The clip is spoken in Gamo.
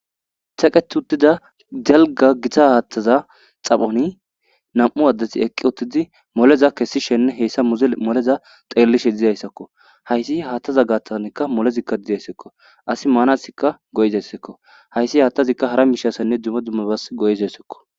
Teqet utida dalga Gita hatheza xaphon 2 asat eqid uttida moleza kessishenne moleza xelishe dizaysakko. Keeh hatheza gathan molezika desko. Asi manasika go'izasko. Hays hathazika hara mishasinne dumma dumma bas go'izasko.